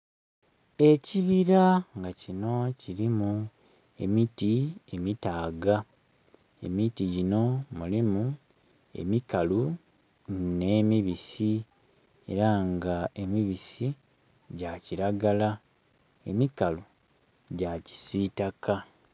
Ekibira nga kino kilimu emiti emitaaga, emiti gino mulimu emikalu ne mibisi era nga emibisi gya kiragala emikalu gya kisitaka.